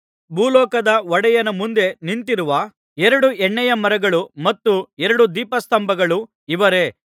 ಭೂಲೋಕದ ಒಡೆಯನ ಮುಂದೆ ನಿಂತಿರುವ ಎರಡು ಎಣ್ಣೆಯ ಮರಗಳೂ ಮತ್ತು ಎರಡು ದೀಪಸ್ತಂಭಗಳೂ ಇವರೇ